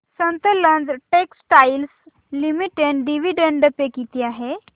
Sutlej textiles limited dividend pay किती आहे